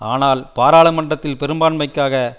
ஆனால் பாராளுமன்றத்தில் பெரும்பான்மைக்காக